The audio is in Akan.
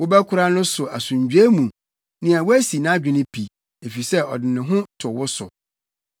Wobɛkora no so asomdwoe mu nea wasi nʼadwene pi, efisɛ ɔde ne ho to wo so.